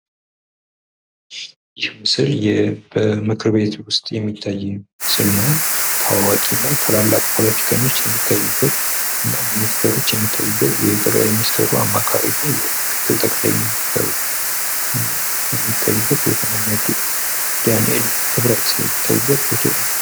ይህ ምስል በምክር ቤት ውስጥ የሚያሳይ ምስል ነው ታዋቂ እና ታላላቅ ፖለቲከኞች የሚታዩበት እና ሚኒስቴሮች የሚታዩበት የጠቅላይ ሚኒስትሩ አማካሪ እና ምክትል ጠቅላይ ሚኒስትሩ የሚታዩበት ቦታ ነውና እነ ዳንኤል ክብረት የሚታዩበት ፎቶ ነው።